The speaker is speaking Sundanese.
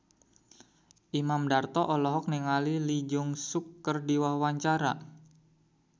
Imam Darto olohok ningali Lee Jeong Suk keur diwawancara